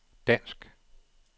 dansk